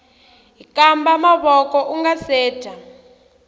hkamba mavoko ungase dya